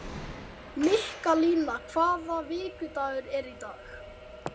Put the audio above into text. Mikkalína, hvaða vikudagur er í dag?